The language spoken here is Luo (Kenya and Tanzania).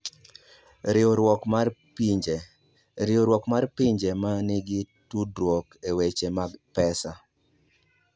Riwruok mar Pinje: Riwruok mar pinje ma nigi tudruok e weche mag pesa.